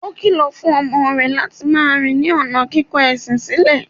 Ó kìlọ̀ fún ọmọ rẹ̀ láti máa rìn ní ọ̀nà kíkọ ẹ̀sìn sílẹ̀.